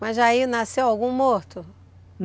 Mas aí nasceu algum morto?